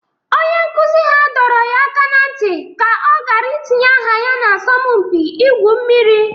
Onye nkụzi ha doro ya aka na ntị ka ọ gara itinye aha ya n'asọmpi ịgwụ mmiri